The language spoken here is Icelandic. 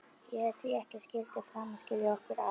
Ég hét því að ekkert skyldi framar skilja okkur að.